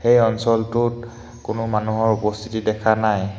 এই অঞ্চলটোত কোনো মানুহৰ উপস্থিতি দেখা নাই।